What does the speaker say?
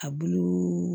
A bulu